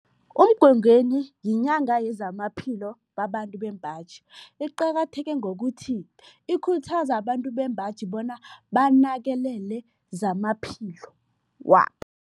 UMgwengweni yinyanga yezamaphilo babantu bembaji. Iqakatheke ngokuthi ikhuthaza abantu bembaji bona banakelele zamaphilo wabo.